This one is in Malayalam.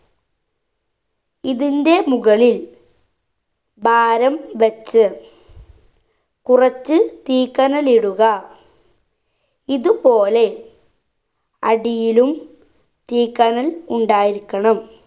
ഇതിന്റെ മുകളിൽ ഭാരം വെച്ച് കുറച്ച് തീക്കനലിടുക ഇതുപോലെ അടിയിലും തീക്കനൽ ഉണ്ടായിരിക്കണം